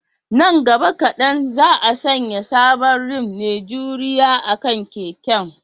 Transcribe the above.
Nan gaba kadan, za a sanya sabon rim mai juriya akan keken